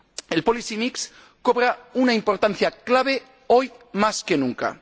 El policy mix cobra una importancia clave hoy más que nunca.